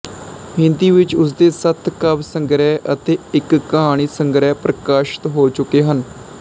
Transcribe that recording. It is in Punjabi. ਹਿੰਦੀ ਵਿੱਚ ਉਸਦੇ ਸੱਤ ਕਾਵਿ ਸੰਗ੍ਰਿਹ ਅਤੇ ਇੱਕ ਕਹਾਣੀ ਸੰਗ੍ਰਿਹ ਪ੍ਰਕਾਸ਼ਿਤ ਹੋ ਚੁੱਕੇ ਹਨ